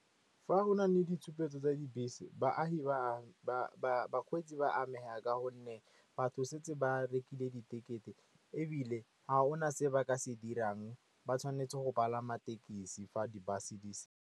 Fa go na le ditshupetso tsa dibese bakgweetsi ba amaga ka gonne batho setse ba rekile di tekete, ebile a go na se ba ka se dirang. Ba tshwanetse go palama tekesi fa di-bus di.